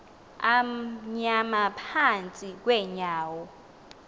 amnyama phantsi kweenyawo